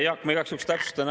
Jaak, ma igaks juhuks täpsustan.